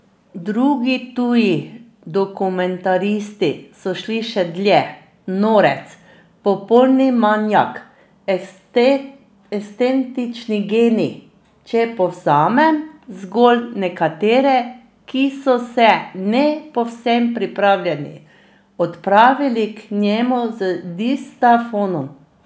Drugi tuji dokumentaristi so šli še dlje: 'norec', 'popolni manijak', 'ekscentrični genij', če povzamem zgolj nekatere, ki so se ne povsem pripravljeni odpravili k njemu z diktafonom.